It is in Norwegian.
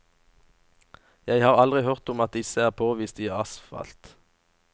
Jeg har aldri hørt om at disse er påvist i asfalt.